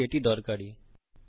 আশা করি এটি দরকারী